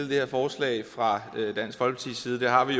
det her forslag fra dansk folkepartis side det har vi